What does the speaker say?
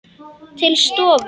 Til stofu.